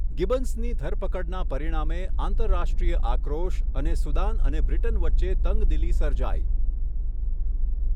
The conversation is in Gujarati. ગિબન્સની ધરપકડના પરિણામે આંતરરાષ્ટ્રીય આક્રોશ અને સુદાન અને બ્રિટન વચ્ચે તંગદિલી સર્જાઈ.